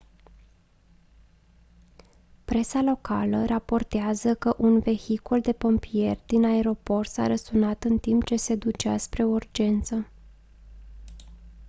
presa locală raportează că un vehicul de pompieri din aeroport s-a răsturnat în timp ce se ducea spre o urgență